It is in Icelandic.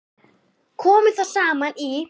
Komu þá saman í